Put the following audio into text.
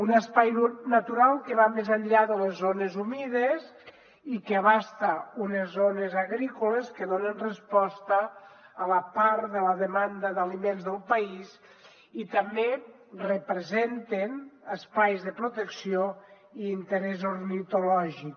un espai natural que va més enllà de les zones humides i que abasta unes zones agrícoles que donen resposta a la part de la demanda d’aliments del país i també representen espais de protecció i interès ornitològic